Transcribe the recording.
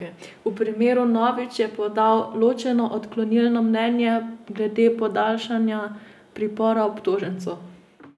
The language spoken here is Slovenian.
V primeru Nović je podal ločeno odklonilno mnenje glede podaljšanja pripora obtožencu.